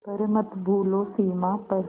पर मत भूलो सीमा पर